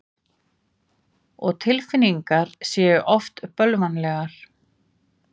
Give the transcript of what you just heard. Og tilfinningar séu oft bölvanlegar.